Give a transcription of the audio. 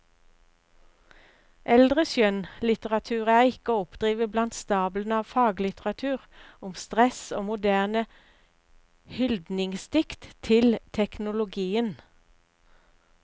Eldre skjønnlitteratur er ikke å oppdrive blant stablene av faglitteratur om stress og moderne hyldningsdikt til teknologien.